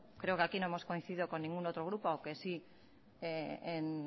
creo que aquí no hemos coincidido con ningún otro grupo aunque sí